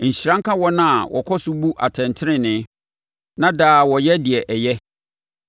Nhyira nka wɔn a wɔkɔ so bu atɛntenenee, na daa wɔyɛ deɛ ɛyɛ.